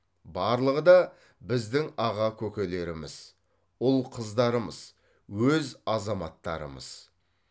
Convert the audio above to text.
барлығы да біздің аға көкелеріміз ұл қыздарымыз өз азаматтарымыз